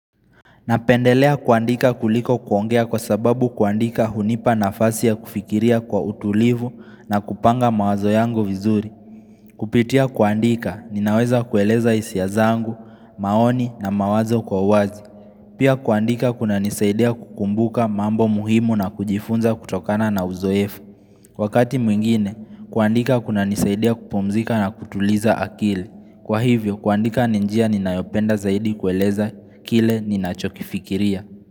Napendelea kuandika kuliko kuongea kwa sababu kuandika hunipa nafasi ya kufikiria kwa utulivu na kupanga mawazo yangu vizuri. Kupitia kuandika, ninaweza kueleza hisia zangu, maoni na mawazo kwa uwazi. Pia kuandika kunanisaidia kukumbuka mambo muhimu na kujifunza kutokana na uzoefu. Wakati mwingine, kuandika kunanisaidia kupumzika na kutuliza akili. Kwa hivyo, kuandika ni njia ninayopenda zaidi kueleza kile ninachokifikiria.